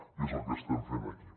i és el que estem fent aquí